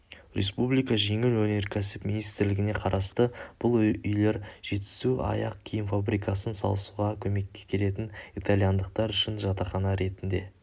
республика жеңіл өнеркәсіп министрлігіне қарасты бұл үйлер жетісу аяқ киім фабрикасын салысуға көмекке келетін итальяндықтар үшін жатақхана ретінде